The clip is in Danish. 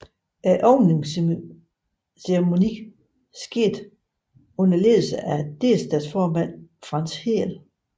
Åbningsceremonien skete under ledelse af delstatsformand Franz Rehrl